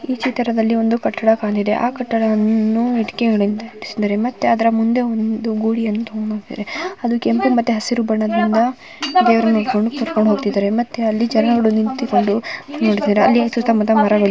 ಚಿತ್ರದಲ್ಲಿ ಒಂದು ಕಟ್ಟಡ ಕಾಣುತ್ತಿದೆಯ ಕಟ್ಟಡವನ್ನು ಇಟ್ಟಿಗೆ ಜೋಡಿಸಿದರೆ ಮತ್ತೆ ಅದರ ಮುಂದೆ ಒಂದು ಗೂಳಿಯನ್ನು ಇಟ್ಟಿದ್ದಾರೆ ಅದು ಕೆಂಪು ಮತ್ತೆ ಹಸಿರು ಬಣ್ಣದಿಂದ ದೇವನ ಇಡ್ಕೊಂಡು ಕರ್ಕೊಂಡು ಹೋಗ್ತಿದ್ದಾರೆ ಮತ್ತೆ ಅಲ್ಲಿ ಜನಗಳು ನಿಂತುಕೊಂಡು ನೋಡುತ್ತಿದ್ದಾರೆ ಸುತ್ತಮುತ್ತ ಮರಗಳಿವೆ --